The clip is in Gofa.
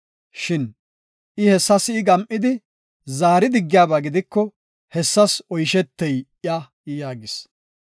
Shin I hessa si7i gam7idi zaari diggiyaba gidiko hessas oyshetey iya” yaagis.